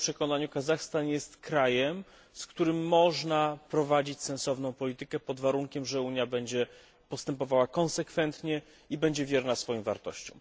W moim przekonaniu Kazachstan jest krajem, z którym można prowadzić sensowną politykę pod warunkiem, że Unia będzie postępowała konsekwentnie i będzie wierna swoim wartościom.